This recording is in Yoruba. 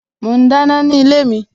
Mo ń dáná ni ilé mi